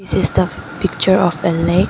this is the picture of a lake.